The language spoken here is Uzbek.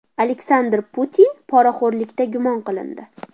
Aleksandr Putin poraxo‘rlikda gumon qilindi.